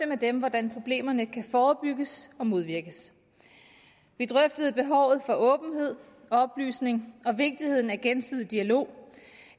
med dem hvordan problemerne kan forebygges og modvirkes vi drøftede behovet for åbenhed oplysning og vigtigheden af gensidig dialog